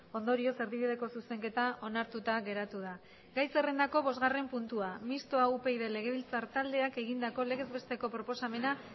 ondorioz erdibideko zuzenketa onartuta geratu da gai zerrendako bosgarren puntua mistoa upyd legebiltzar taldeak egindako legez besteko proposamena